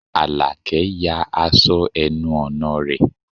Àlàkẹ́ ya aṣọ ẹnu ọ̀nà rẹ̀